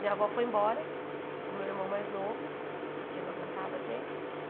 Minha avó foi embora, com meu irmão mais novo, porque não aguentava a gente.